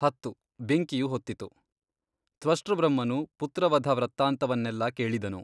ಹತ್ತು, ಬೆಂಕಿಯು ಹೊತ್ತಿತು ತ್ವಷ್ಟೃಬ್ರಹ್ಮನು ಪುತ್ರವಧವೃತ್ತಾಂತವನ್ನೆಲ್ಲಾ ಕೇಳಿದನು.